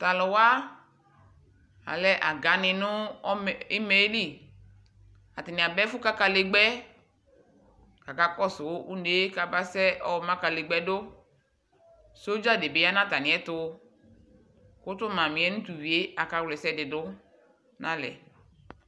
Taluwa alɛ aga ni nʋ imaɛ li Atani aba ɛfʋ ka kalegba yɛKakakɔsʋ unee kamasɛ yɔma kalegbɛ dʋSɔdza dibi ya natamiɛtuKʋ tu mamiɛ nu tuvie akawla ɛsɛdi dʋ nalɛ